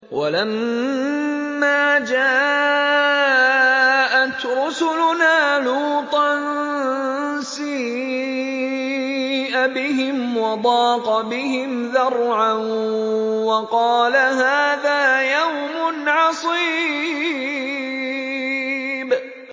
وَلَمَّا جَاءَتْ رُسُلُنَا لُوطًا سِيءَ بِهِمْ وَضَاقَ بِهِمْ ذَرْعًا وَقَالَ هَٰذَا يَوْمٌ عَصِيبٌ